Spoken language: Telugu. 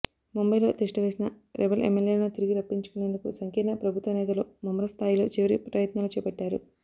ముంబయిలో తిష్ట వేసిన రెబెల్ ఎమ్మెల్యేలను తిరిగి రప్పించుకునేందుకు సంకీర్ణ ప్రభుత్వ నేతలు ముమ్మర స్థాయిలో చివరి ప్రయత్నాలు చేపట్టారు